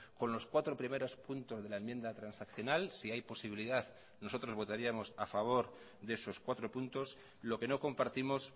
con los cuatro primeros puntos de la enmienda transaccional si hay posibilidad nosotros votaríamos a favor de esos cuatro puntos lo que no compartimos